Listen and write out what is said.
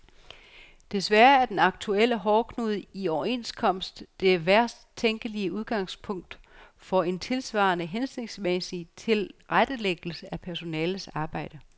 Desværre er den aktuelle hårdknude i overenskomst det værst tænkelige udgangspunkt for en tilsvarende hensigtsmæssig tilrettelæggelse af personalets arbejde.